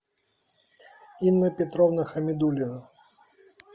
инна петровна хамидулина